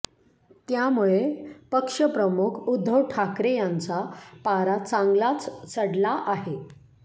त्यामुळे पक्षप्रमुख उद्धव ठाकरे यांचा पारा चांगलाच चढला आहे